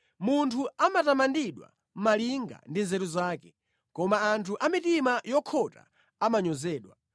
Munthu amatamandidwa malinga ndi nzeru zake, koma anthu amitima yokhota amanyozedwa.